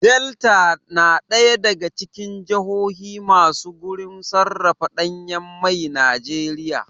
Delta na ɗaya daga cikin jahohi masu gurin sarrafa ɗanyan mai Najeriya